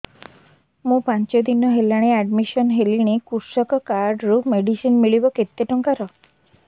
ମୁ ପାଞ୍ଚ ଦିନ ହେଲାଣି ଆଡ୍ମିଶନ ହେଲିଣି କୃଷକ କାର୍ଡ ରୁ ମେଡିସିନ ମିଳିବ କେତେ ଟଙ୍କାର